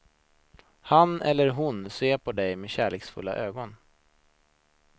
Han eller hon ser på dig med kärleksfulla ögon.